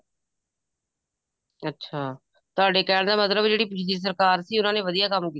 ਅੱਛਾ ਤੁਹਾਡੇ ਕਹਿਣ ਦਾ ਮਤਲਬ ਜਿਹੜੀ ਪਿਛਲੀ ਸਰਕਾਰ ਸੀ ਉਹਨਾ ਨੇ ਵਧੀਆਂ ਕੰਮ ਕੀਤਾ